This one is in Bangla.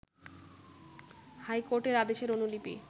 হাইকোর্টের আদেশের অনুলিপি